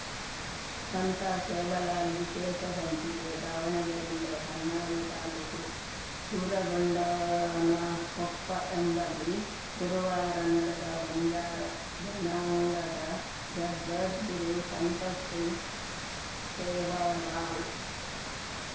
ಸಂತ ಸೇವಾಲಾಲ್‌ ವಿಶೇಷ ಸಂಚಿಕೆ ದಾವಣಗೆರೆ ಜಿಲ್ಲೆ ಹೊನ್ನಾಳಿ ತಾಲೂಕು ಸೂರಗೊಂಡನಕೊಪ್ಪ ಎಂಬಲ್ಲಿ ಗುರುವಾರ ನಡೆದ ಬಂಜಾರ ಜನಾಂಗದ ಜಗದ್ಗುರು ಸಂತ ಶ್ರೀ ಸೇವಾಲಾಲ್‌